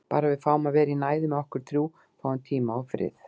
Bara að við fáum að vera í næði með okkur þrjú. fáum tíma og frið.